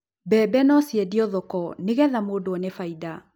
mbembe no ciendio thoko nĩgetha mũndũ one faida